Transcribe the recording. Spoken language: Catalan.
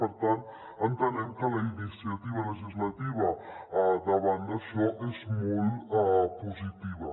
per tant entenem que la iniciativa legislativa davant d’això és molt positiva